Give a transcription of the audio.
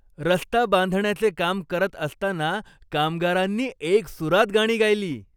रस्ता बांधण्याचे काम करत असताना कामगारांनी एकसुरात गाणी गायली.